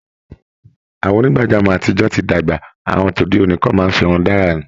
Àwọn onígbàjámọ̀ àtijọ ti dàgbà, àwọn tode òní kan máa ń firun dárà ni